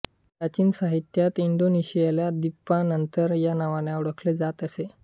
प्राचीन साहित्यात इंडोनेशियाला द्वीपान्तर या नावाने ओळखले जात असे